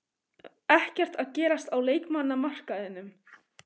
Ekkert að gerast á leikmannamarkaðinum?